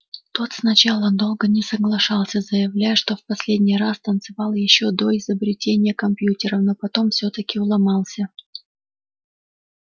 тот сначала долго не соглашался заявляя что в последний раз танцевал ещё до изобретения компьютера но потом всё-таки уломался